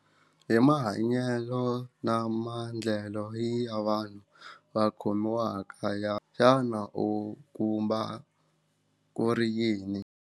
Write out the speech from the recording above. Hi mahanyelo na maendlelo ya vanhu va khomiwaka ya u kuma ku ri yini.